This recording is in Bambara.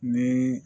Ni